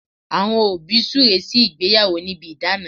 Àwọn òbí súre sí ìgbéyàwó níbi idana